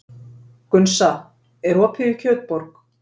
Gunnsa, er opið í Kjötborg?